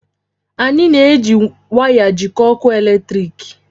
Anyị na-eji waya jikọọ ọkụ eletrik